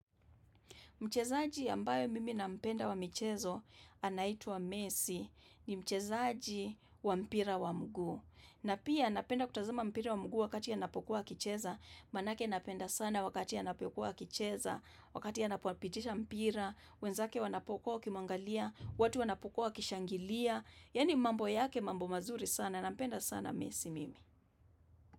Mchezaji ambaye mimi na mpenda wa michezo anaitwa mesi ni mchezaji wa mpira wa mguu. Na pia napenda kutazama mpira wa mguu wakati anapokuwa akicheza, manake napenda sana wakati anapokuwa akicheza, wakati anapoupitisha mpira, wenzake wanapokuwa wwkimwangalia, watu wanapokuwa wakishangilia, yani mambo yake mambo mazuri sana, nampenda sana mesi mimi.